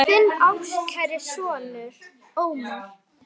Þinn ástkæri sonur, Ómar.